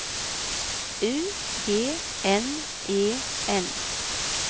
U G N E N